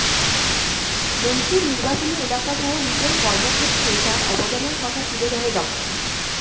মন্ত্রীর নির্বাচনী এলাকাসহ নিজের কর্মক্ষেত্রে তার অবদানের কথা তুলে ধরে ডা